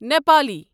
Nepali